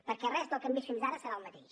perquè res del que hem vist fins ara serà el mateix